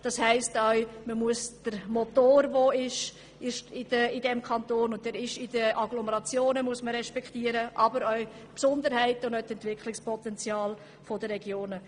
Das bedeutet auch, dass man den Motor in den Agglomerationen ebenso respektieren muss wie die Besonderheiten und Entwicklungspotenziale der Regionen.